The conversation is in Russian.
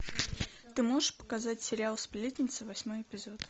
ты можешь показать сериал сплетница восьмой эпизод